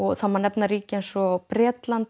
það má nefna ríki eins og Bretland